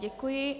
Děkuji.